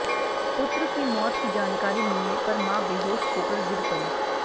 पुत्र की मौत की जानकारी मिलने पर मां बेहोश होकर गिर पड़ीं